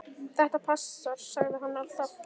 Þetta passar, sagði hann alltaf.